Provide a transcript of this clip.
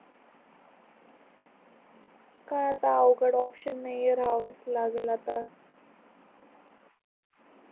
काय आपल्या कड ओपशन नाही आहे राव लागेल आता